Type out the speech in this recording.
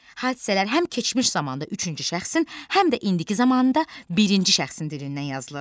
Hadisələr həm keçmiş zamanda üçüncü şəxsin, həm də indiki zamanda birinci şəxsin dilindən yazılır.